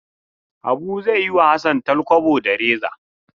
Habu zai yi wa Hassan talkwabo da reza.